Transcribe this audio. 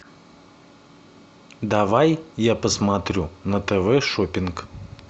давай я посмотрю на тв шоппинг